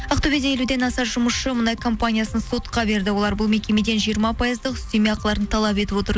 ақтөбеде елуден аса жұмысшы мұнай компаниясын сотқа берді олар бұл мекеден жиырма пайыздық үстеме ақыларын талап етіп отыр